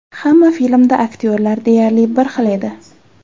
Hamma filmda aktyorlar deyarli bir xil edi.